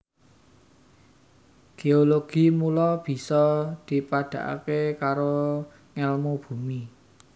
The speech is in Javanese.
Géologi mula bisa dipadhakaké karo ngèlmu bumi